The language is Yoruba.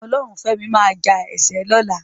Ọlọ́runfẹ́mi máa ja ẹ̀ṣẹ́ lọ́la.